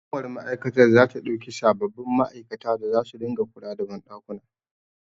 Hukumar ma'aikatar zata ɗauki sababbin ma'aikata da zasu dinga kula da banɗakuna.